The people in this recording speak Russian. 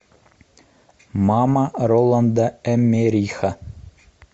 мама роланда эммериха